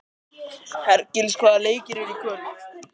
Hergils, hvaða leikir eru í kvöld?